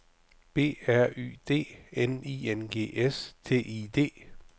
B R Y D N I N G S T I D